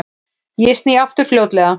Ég sný aftur fljótlega.